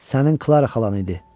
Sənin Klara xalan idi.